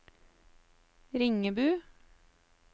Ringebu